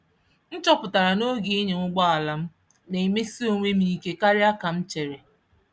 M chọpụtara n’oge ịnya ụgbọ ala m n'emesi onwem ike karịa ka m chere